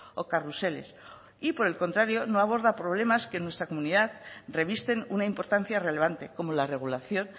o carruseles y por el contrario no aborda problemas que en nuestra comunidad revisten una importancia relevante como la regulación